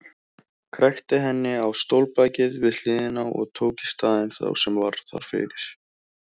Krækti henni á stólbakið við hliðina og tók í staðinn þá sem var þar fyrir.